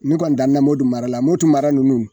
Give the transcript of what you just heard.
Ne kɔni damɛ Modu mara la Motu mara nunnu